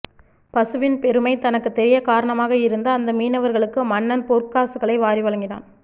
பசுவின் பெருமை தனக்குத் தெரிய காரணமாக இருந்த அந்த மீனவர்களுக்கு மன்னன் பொற்காசுகளை வாரி வழங்கினான்